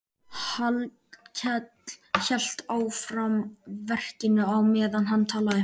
Hallkell hélt áfram verkinu á meðan hann talaði.